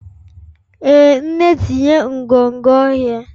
Ee nne tinye nkwonkwo oghe